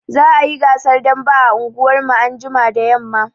Za a yi gasar dambe a unguwarmu anjima da yamma